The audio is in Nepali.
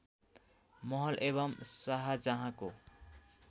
महल एवम् शाहजहाँको